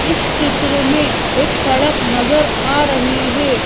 इस चित्र मे एक सड़क नजर आ रही है।